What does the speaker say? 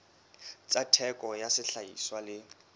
tsa theko ya sehlahiswa le